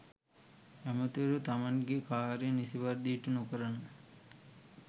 ඇමතිවරු තමන්ගේ කාර්යන් නිසි පරිදි ඉටු නොකරන